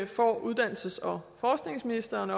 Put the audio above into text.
får uddannelses og forskningsministeren